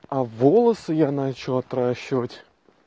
а волосы я начал отращивать